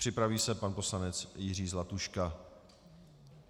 Připraví se pan poslanec Jiří Zlatuška.